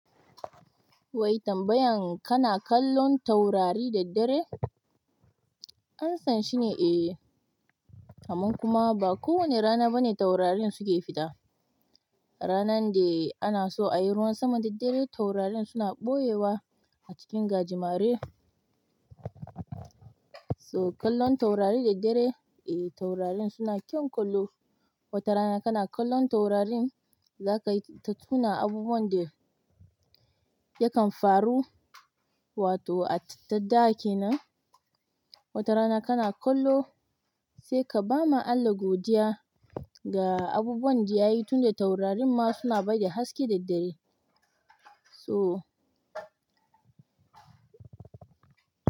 Wai tambayan kana kallon taurari da dare? Amsan shine eh, amman kuma ba kowane rana bane taurarin suke fita. Ranan da ana so ayi ruwan sama da dare taurarin suna ɓoyewa a cikin gajimare. So kallon taurari da dare eh taurarin suna kyau kallo. Wata rana kana kallon taurarin za ka yi ta tuna abubuwan da yakan faru wato a ta da kenan. Wata rana kana kallo sai ka ba ma Allah godiya ga abubuwan da ya yi tunda taurarin ma suna ba da haske da dare. So.